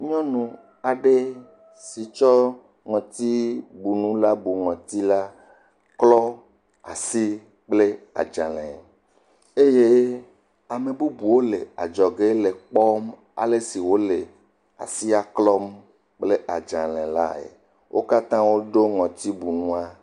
Nyɔnu aɖe si tsɔ ŋɔtibunu la bu ŋɔti la klɔ asi kple adzlẽ eye ame bubuwo le ekpɔm ale si wòle asia klɔm kple adzalẽ lae. Wo katã woɖo ŋɔtibunua.